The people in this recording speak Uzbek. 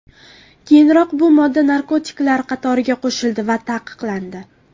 Keyinroq bu modda narkotiklar qatoriga qo‘shildi va taqiqlandi.